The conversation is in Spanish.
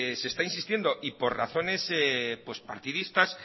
se está insistiendo y por razones partidistas